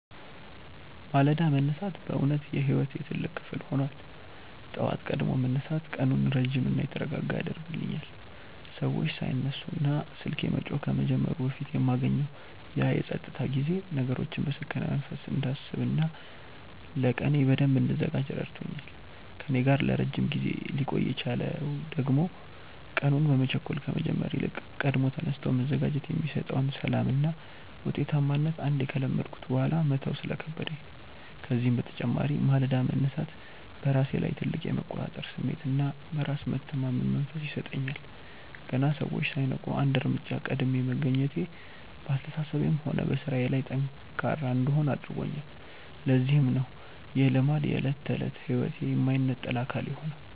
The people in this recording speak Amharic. ማለዳ መነሳት በእውነት የሕይወቴ ትልቅ ክፍል ሆኗል። ጠዋት ቀድሞ መነሳት ቀኑን ረጅምና የተረጋጋ ያደርግልኛል፤ ሰዎች ሳይነሱና ስልኬ መጮህ ከመጀመሩ በፊት የማገኘው ያ የፀጥታ ጊዜ ነገሮችን በሰከነ መንፈስ እንዳስብና ለቀኔ በደንብ እንድዘጋጅ ረድቶኛል። ከእኔ ጋር ለረጅም ጊዜ ሊቆይ የቻለው ደግሞ ቀኑን በመቸኮል ከመጀመር ይልቅ ቀድሞ ተነስቶ መዘጋጀት የሚሰጠውን ሰላምና ውጤታማነት አንዴ ከለመድኩት በኋላ መተው ስለከበደኝ ነው። ከዚህም በተጨማሪ ማለዳ መነሳት በራሴ ላይ ትልቅ የመቆጣጠር ስሜትና በራስ የመተማመን መንፈስ ይሰጠኛል። ገና ሰዎች ሳይነቁ አንድ እርምጃ ቀድሜ መገኘቴ በአስተሳሰቤም ሆነ በሥራዬ ላይ ጠንካራ እንድሆን አድርጎኛል፤ ለዚህም ነው ይህ ልማድ የዕለት ተዕለት ሕይወቴ የማይነጠል አካል የሆነው።